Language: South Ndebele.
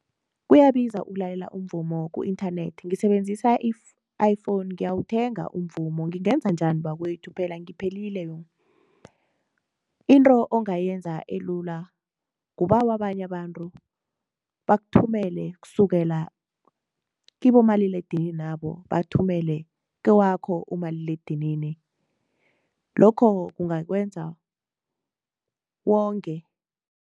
Kuyabiza ukulalela umvumo ku-internet ngisebenzisa i-iPhone ngiyawuthenga umvumo, ngingenza njani bakwethu phela ngiphelile yong? Into ongayenza elula kubawa abanye abantu bakuthumele kusukela kibomalilaledininabo bathumele kewakho umaliledinini lokho kungakwenza wonge.